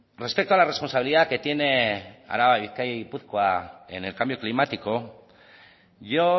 respecto a la responsabilidad que tiene álava bizkaia y gipuzkoa en el cambio climático yo